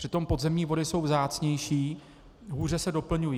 Přitom podzemní vody jsou vzácnější, hůře se doplňují.